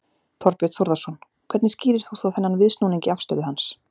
Þorbjörn Þórðarson: Hvernig skýrir þú þá þennan viðsnúning í afstöðu hans?